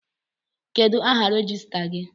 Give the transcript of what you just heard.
Kedụ áhà rejistra gị?